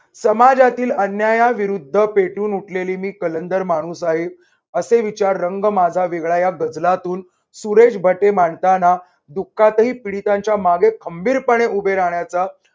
समाजातील अन्यायाविरुद्ध पेटून उठलेली मी कलंदर माणूस आहे असे विचार रंग माझा वेगळा या गजलातून सुरेश भट हे मांडताना दुःखातही पीडितांच्या मागे खंबीरपणे उभे राहण्याचा